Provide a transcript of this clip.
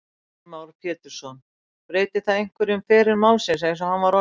Heimir Már Pétursson: Breytir það einhverju um feril málsins eins og hann var orðinn?